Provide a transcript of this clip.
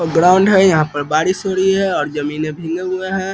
Ground है यहाँ पर और बारिश हो रही है और जमीन भींगे हुए हैं।